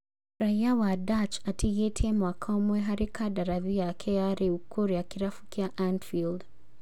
Raiya wa Dutch atigĩtie mwaka ũmwe harĩ kandarathi yake ya rĩu kũrĩa kĩrabu kĩa Anfield